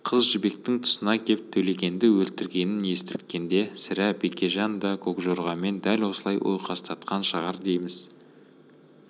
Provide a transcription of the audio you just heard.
қыз жібектің тұсына кеп төлегенді өлтіргенін естірткенде сірә бекежан да көкжорғамен дәл осылай ойқастатқан шығар дейміз